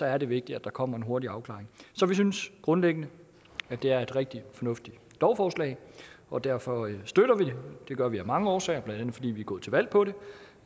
er det vigtigt at der kommer en hurtig afklaring så vi synes grundlæggende at det er et rigtig fornuftigt lovforslag og derfor støtter vi det det gør vi af mange årsager blandt andet fordi vi er gået til valg på det